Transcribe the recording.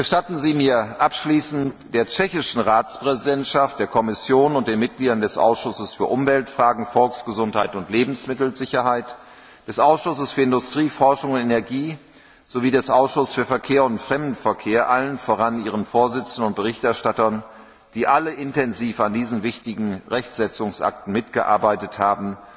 Gestatten Sie mir abschließend, der tschechischen Ratspräsidentschaft, der Kommission und den Mitgliedern des Ausschusses für Umweltfragen, Volksgesundheit und Lebensmittelsicherheit, des Ausschusses für Industrie, Forschung und Energie sowie des Ausschusses für Verkehr und Fremdenverkehr, allen voran ihren Vorsitzenden und Berichterstattern, die alle intensiv an diesen wichtigen Rechtsetzungsakten mitgearbeitet haben,